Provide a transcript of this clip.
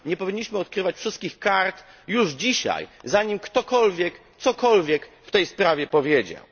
Nie powinniśmy odkrywać wszystkich kart już dzisiaj, zanim ktokolwiek cokolwiek w tej sprawie powiedział.